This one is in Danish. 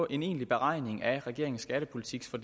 en egentlig beregning af af regeringens skattepolitik nu